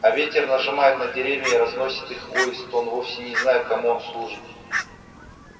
а ветер нажимает на деревья и разносит их вой и стон вовсе не зная кому он служит